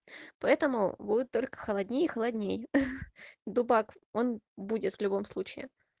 поэтому будет только холоднее и холоднее дубак он будет в любом случае